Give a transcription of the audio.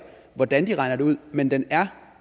hvordan de regner selskabsskatteprocenten ud men den er